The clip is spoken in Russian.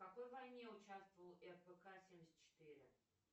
в какой войне участвовал рпк семьдесят четыре